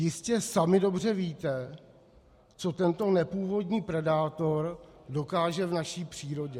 Jistě sami dobře víte, co tento nepůvodní predátor dokáže v naší přírodě.